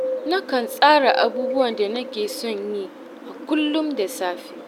Nakan tsara abubuwan da nake son yi a kullum da safe